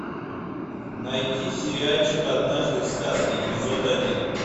найти сериальчик однажды в сказке эпизод один